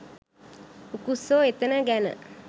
උකුස්සෝ එතැන ගැන